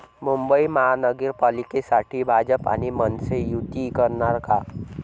मुंबई महानगरपालिकेसाठी भाजप आणि मनसे युती करणार का?